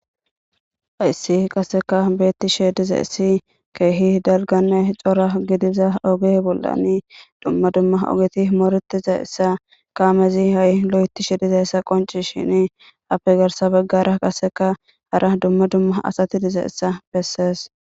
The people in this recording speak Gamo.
Hayssi qassikka beeththishee dizayssi keehi dalgganne cora gidiza oge bollani dumma dumma ogethi mooreththizayssa kaamethi ha7i loyththishe dizayssa qonccishiini appe garssa baggara qassekka hara dumma dumma asathi dizayssa bessees.